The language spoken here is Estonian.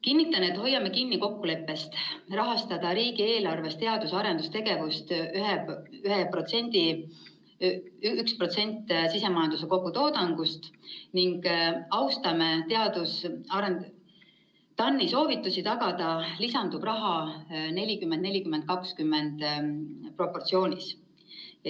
" Kinnitan, et hoiame kinni kokkuleppest rahastada riigieelarvest teadus‑ ja arendustegevust 1%‑ga sisemajanduse kogutoodangust ning austame TAN‑i soovitusi tagada lisanduv raha proportsioonis 40 : 40 : 20.